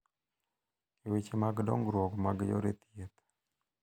E weche mag dongruok mag yore thieth,